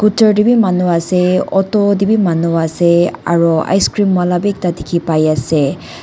manu ase auto tae bi manu ase aro icecream wala bi ekta dikhipaiase.